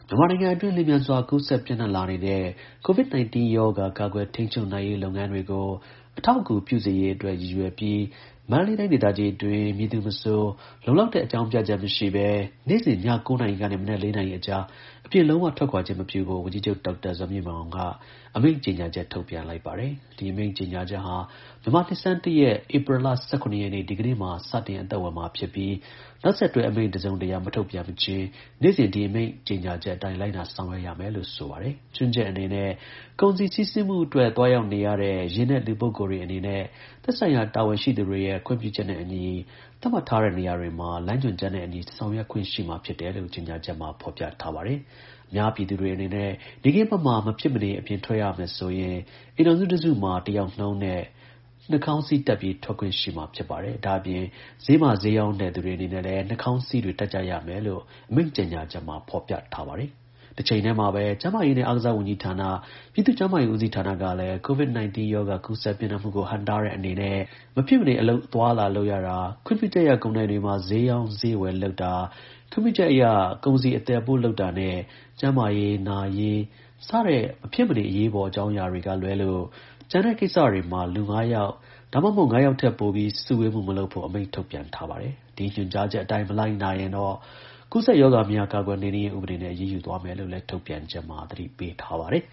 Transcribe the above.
မြန်မာနိုင်ငံအတွင်း လျှင်မြန်စွာကူးစက်ပြန့်နှံ့လာနေတဲ့ COVID-19 ရောဂါ ကာကွယ်ထိန်းချုပ်နိုင်ရေးလုပ်ငန်းတွေကို အထောက်အကူပြုစေရေးအတွက် ရည်ရွယ်ပြီး မန္တလေးတိုင်းဒေသကြီးအတွင်း မည်သူမဆို လုံလောက်တဲ့အကြောင်းပြချက် မရှိဘဲ နေ့စဉ် ည (၉) နာရီကနေ မနက် (၄) နာရီအကြား အပြင် လုံးဝထွက်ခွာခြင်းမပြုဖို့ ဝန်ကြီးချုပ် ဒေါက်တာဇော်မြင့်မောင်က အမိန့်ကြေညာချက် ထုတ်ပြန်လိုက်ပါတယ်။ ဒီအမိန်ကြေညာချက်ဟာ မြန်မာနှစ်ဆန်း (၁) ရက်၊ ဧပြီလ ၁၇ ရက်နေ့၊ ဒီကနေ့မှာ စတင်အသက်ဝင်မှာ ဖြစ်ပြီး နောက်ဆက်တွဲ အမိန့်တစုံတရာ မထုတ်ပြန်မချင်း နေ့စဉ် ဒီအမိန့်ကြေညာချက်အတိုင်း လိုက်နာဆောင်ရွက်ရမယ်လို့ ဆိုပါတယ်။ ချွင်းချက်အနေနဲ့ ကုန်စည်စီးဆင်းမှုအတွက် သွားရောက်နေရတဲ့ ယာဉ်နဲ့ လူပုဂ္ဂိုလ်တွေအနေနဲ့ သက်ဆိုင်ရာတာဝန်ရှိသူတွေရဲ့ ခွင့်ပြုချက်နဲ့အညီ သတ်မှတ်ထားတဲ့နေရာတွေမှာ လမ်းညွန်ချက်နဲ့ အညီ ဆောင်ရွက်ခွင့်ရှိမှာ ဖြစ်တယ်လို့ ကြေညာချက်မှာ ဖော်ပြထားပါတယ်။ အများပြည်သူတွေအနေနဲ့ နေ့ခင်းဘက်မှာ မဖြစ်မနေ အပြင်ထွက်ရမယ်ဆိုရင် အိမ်ထောင်စုတစုမှာ (၁) ယောက်နှုန်းနဲ့ Mask နှာခေါင်းစည်းတပ်ပြီး ထွက်ခွင့်ရှိမှာ ဖြစ်ပါတယ်။ ဒါ့အပြင် ဈေးမှာ ဈေးရောင်းတဲ့သူတွေအနေနဲ့လည်း နှာခေါင်းစည်းတွေ တပ်ကြရမယ်လို့ အမိန့်ကြေညာချက်မှာ ဖော်ပြထားပါတယ်။ တချိန်ထဲမှာဘဲ ကျန်းမာရေးနဲ့ အားကစားဝန်ကြီးဌာန၊ ပြည်သူ့ကျန်းမာရေး ဦးစီးဌာနကလည်း အများပြည်သူ COVID-19 ရောဂါကူးစက် ပြန့်နှံ့မှုကို ဟန့်တားတဲ့အနေနဲ့ မဖြစ်မနေ အလုပ် အသွားအလာ လုပ်ရတာ၊ ခွင့်ပြုချက်ရ ကုန်ဒိုင်တွေမှာ ဈေးရောင်းဈေးဝယ် လုပ်တာ၊ ခွင့်ပြုချက်အရ ကုန်စည်အသယ်အပို့ လုပ်တာနဲ့ ကျန်းမာရေး၊ နာရေး စသဖြင့် မဖြစ်မနေ အရေးပေါ်အကြောင်းအရာတွေကေလွဲလို့ ကျန်တဲ့ကိစ္စတွေမှာ လူ ၅ ယောက် ဒါမှမဟုတ် ၅ ယောက်ထက်ပိုပြီး စုဝေးမှု မလုပ်ဖို့ အမိန့်ထုတ်ပြန်ထားပါတယ်။ ဒီညွှန်ကြားချက်အတိုင်း မလိုက်နာရင်တော့ ကူးစက်ရောဂါများ ကာကွယ်နှိမ်နင်းရေးဥပဒေနဲ့ အရေးယူသွားမယ်လို့လည်း ထုတ်ပြန်ချက်မှာ သတိပေးထားပါတယ်